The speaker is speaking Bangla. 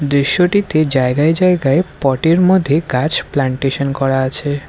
দৃশ্যটিতে জায়গায় জায়গায় পট -এর মধ্যে গাছ প্ল্যান্টেশন করা আছে।